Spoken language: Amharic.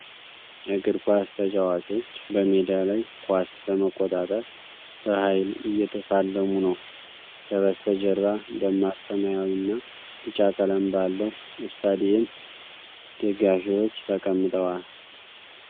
እግር ኳስ ተጫዋቾች በሜዳ ላይ ኳስ ለመቆጣጠር በኃይል እየተፋለሙ ነው። ከበስተጀርባ ደማቅ ሰማያዊ እና ቢጫ ቀለም ባለው ስታዲየም ደጋፊዎች ተቀምጠዋል።